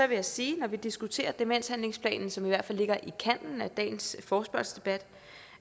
vil jeg sige når vi diskuterer demenshandlingsplanen som i hvert fald ligger i kanten af dagens forespørgselsdebat